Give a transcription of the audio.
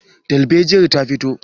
darbejiyar ta fito?